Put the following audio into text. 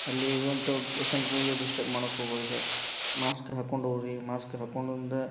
ಅಲ್ಲಿ ಇರುವಂತಹ ಪೇಷಂಟ್ ಗಳಿಗೆ ಡಿಸ್ಟರ್ಬ್ ಮಾಡೋಕ್ ಹೋಗ್ಬಾರ್ದು ಮಾಸ್ಕ ಹಾಕ್ಕೊಂಡ್ ಹೋಗ್ರಿ ಮಾಸ್ಕ ಹಾಕ್ಕೊಂಡ್ ಒಂದು --